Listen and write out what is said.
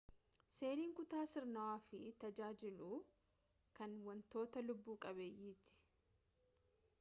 seeliin kutaa sirnawaa fi tajaajilu =kan wantoota lubbu qabeeyyiiti